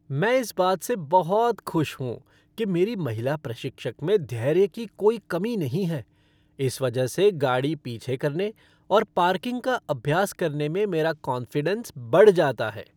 मैं इस बात से बहुत खुश हूँ कि मेरी महिला प्रशिक्षक में धैर्य की कोई कमी नहीं है, इस वजह से गाड़ी पीछे करने और पार्किंग का अभ्यास करने में मेरा कॉन्फ़िडेंस बढ़ जाता है।